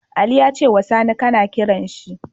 Ali yace wa Sani kAna kiranshi